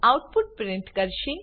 output print કરશે